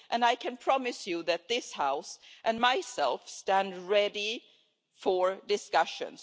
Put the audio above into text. I can promise you that this House and I, myself stand ready for discussions.